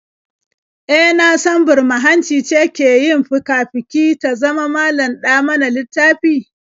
E, na san burma-hanci ce ke yin fika-fiki ta zama malam-ɗa-mana-littafi?